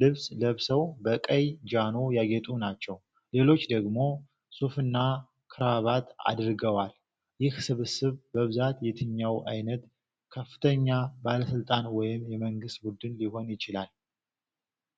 ልብስ ለብሰው፣ በቀይ ጃኖ ያጌጡ ናቸው፤ ሌሎች ደግሞ ሱፍና ክራቫት አድርገዋል፤ ይህ ስብስብ በብዛት የትኛው ዓይነት ከፍተኛ ባለሥልጣን ወይም የመንግሥት ቡድን ሊሆን ይችላል?